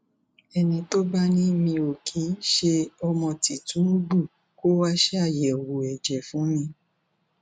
ẹni tó bá ni mi ò kì í ṣe ọmọ tìtúngbù kó wáá ṣàyẹwò ẹjẹ fún mi